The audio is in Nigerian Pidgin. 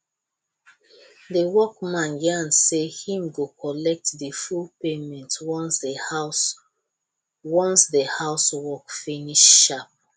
the workman yarn say him go collect the full payment once the house once the house work finish sharp